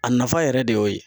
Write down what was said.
A nafa yɛrɛ de y'o ye.